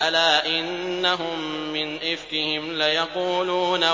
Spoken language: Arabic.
أَلَا إِنَّهُم مِّنْ إِفْكِهِمْ لَيَقُولُونَ